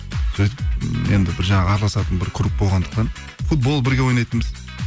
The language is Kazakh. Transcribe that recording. сөйтіп м енді бір жағы араласатын бір круг болғандықтан футбол бірге ойнайтынбыз